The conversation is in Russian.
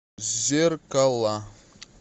зеркала